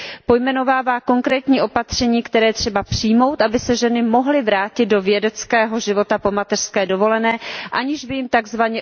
Pojmenovává konkrétní opatření, která je třeba přijmout, aby se ženy mohly vrátit do vědeckého života po mateřské dovolené, aniž by jim tzv.